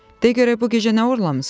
"De görə bu gecə nə oğurlamısan?"